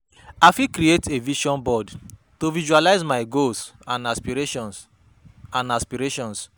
I fit create a vision board to visualize my goals and aspirations. and aspirations.